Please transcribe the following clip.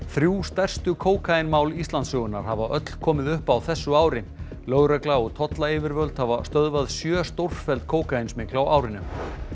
þrjú stærstu kókaínmál Íslandssögunnar hafa öll komið upp á þessu ári lögregla og tollayfirvöld hafa stöðvað sjö stórfelld kókaínsmygl á árinu